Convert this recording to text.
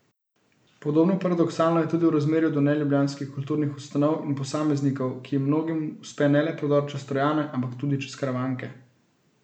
Podobno paradoksalno je tudi v razmerju do neljubljanskih kulturnih ustanov in posameznikov, ki jim mnogim uspe ne le prodor čez Trojane, ampak tudi čez Karavanke.